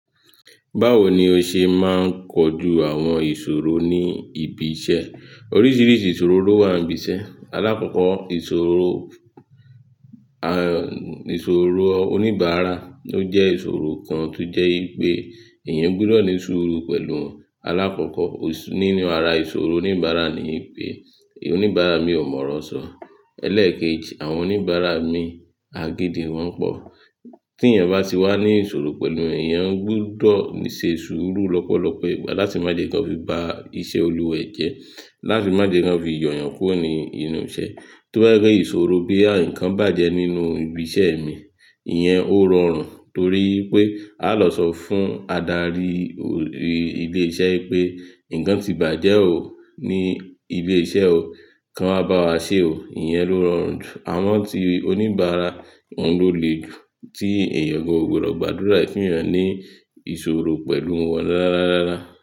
Báwo ni ó ṣe máa ń kojú àwọn ìṣòro ní ibi iṣẹ́? Oríṣiríṣi ìṣòro ló wà nbi iṣẹ́. Alákọ̀ọ́kọ́ ìṣòro, ìṣòro oníbàárà. Ó jẹ́ ìṣòro kan tó jẹ́ ipé èèyàn gbọdọ̀ ní ṣúúrú pẹ̀lú alákọ̀ọ́kọ́ nínú ara ìṣòro oníbàárà ni pé oníbàárà mi ò mọ̀ ọ́rọ sọ. Ẹ̀leẹ̀keji, àwọn oníbàárà mi, agídì wọn pọ̀. Tí èèyàn bá ti wà ní ìṣòro pẹ̀lú èèyàn, ó gbudọ̀ ní ṣe súúrú lọ́pọ̀lọpọ̀ ìgbà láti má jẹ́ kí wọ́n fi ba iṣẹ́ olùwa e jẹ́, láti má jẹ́ kí wọ́n fi yoo'yàn kúro ni inú iṣẹ́. Tóbá jẹ́ pe ìṣòro boya ǹkan bàjẹ́ nínú ibi iṣẹ́ mi, ìyẹn ó rọrùn torí pé a lọ sọ fún adarí ilé iṣẹ́ pé nǹkan ti bàjẹ́ ò ó ní ile-iṣẹ́ o, kan wáa bá wa ṣe o. Ìyẹn ló rọrùn jù. Àwọn tí oníbàárà, awọn ló le jù, tí èèyàn o kan gbodo gbàdúrà e ki èèyàn ní ìṣòro pẹ̀lú wọn rára rára.